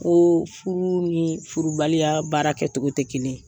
Ko furu ni furubaliya baara kɛ cogo tɛ kelen ye.